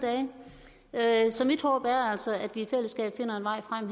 dage så mit håb er altså at vi her i fællesskab finder en vej frem